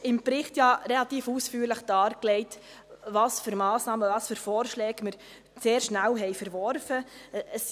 Im Bericht ist relativ ausführlich dargelegt, welche Massnahmen und Vorschläge wir relativ schnell verworfen haben.